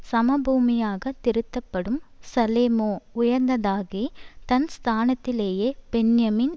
சமபூமியாகத் திருத்தப்படும் சலேமோ உயர்ந்ததாகி தன் ஸ்தானத்திலே பென்யமீன்